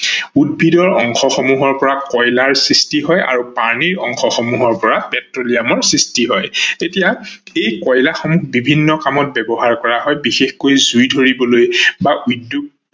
উদ্ভিদ অংশ সমূহৰ পৰা কয়লা সৃষ্টি হয় আৰু প্ৰানীৰ অংশ সমূহৰ পৰা পেট্ৰলিয়ামৰ সৃষ্টি হয়। এতিয়া এই কয়লা সমূহ বিভিন্ন কামত ব্যৱহাৰ কৰা হয় বিশেষকৈ জুই ধৰিবলৈ বা উদ্যোগ